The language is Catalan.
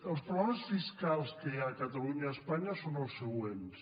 els problemes fiscals que hi ha a catalunya i a espanya són els següents